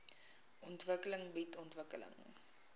ontwikkeling bied ontwikkeling